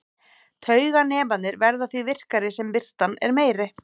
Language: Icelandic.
Tauganemarnir verða því virkari sem birtan er meiri.